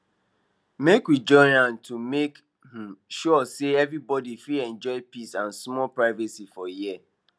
make we join hand to make um sure say everybody fit enjoy peace and small privacy for here